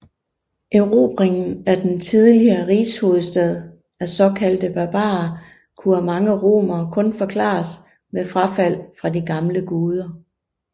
Erobringen af den tidligere rigshovedstad af såkaldte barbarer kunne af mange romere kun forklares med frafald fra de gamle guder